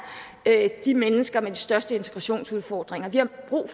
de mennesker med de største integrationsudfordringer vi har brug